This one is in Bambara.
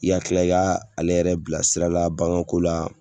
I ka kila i ka ale yɛrɛ bila sira la baganko la.